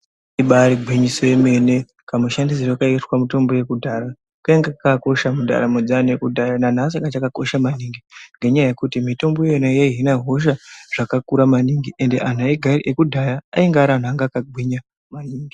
Kamushandisirwe kaiitwa mitombo yekudhara kainge kakakosha kudhara mumwedzi yakudhara nanhasi kachakakosha maningi nenyaya yekuti mitombo iyi inokosha zvakakura manhingi ende anhu ekudhara aigara ari anhu akagwinya manhingi.